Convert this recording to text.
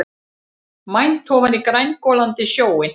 Mænt ofan í grængolandi sjóinn.